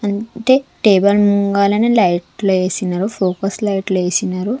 అంటే టేబుల్ ముంగాలనే లైట్ లో ఏసినారు ఫోకస్ లైట్ లో ఏసినారు.